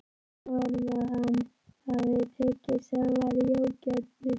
Segja honum að hann hafi tekið seðlana í ógáti.